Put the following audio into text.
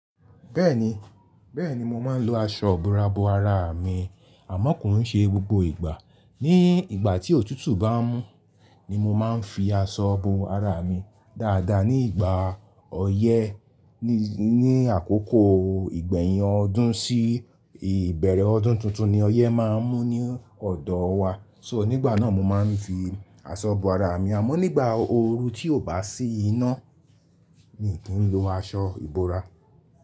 Bẹ́ẹ̀ni, bẹ́ẹ̀ni mo máa ń lo aṣọ ìbora bo ara mi amọ́ ki n ṣe gbogbo ìgbà. Ni ìgbà tí òtútù bá mú ni mo máa ń fi aṣọ bo ara mi. Daadaa ní ìgbà ọyẹ́ ní, ní àkókò ìgbẹ̀yìn ọdún sí ìbẹ̀rẹ̀ ọdún tuntun ni ọyẹ́ máa ń mú ní ọ̀dọ̀ wa. So nígbà náà mo máa ń fi aṣọ bo ara mi. Àmọ́ nígbà ooru tí ò bá sí iná mi kì í lo aṣọ ìbora.